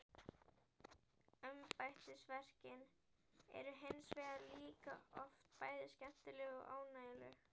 Embættisverkin eru hins vegar líka oft bæði skemmtileg og ánægjuleg.